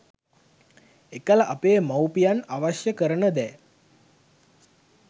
එකල අපේ මවුපියන් අවශ්‍ය කරන දෑ